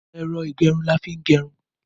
Ẹ̀rọ ìgẹrun ni a fi ń gẹrun.